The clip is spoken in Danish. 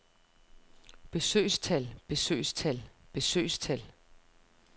besøgstal besøgstal besøgstal